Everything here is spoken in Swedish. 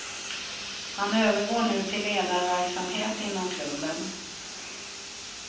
Han övergår nu till ledarverksamhet inom klubben.